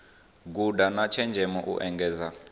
guda na tshenzhemo u engedza